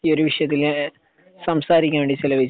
ഈ ഒരു വിഷയത്തില് സംസാരിക്കാൻ വേണ്ടി ചിലവഴിച്ചു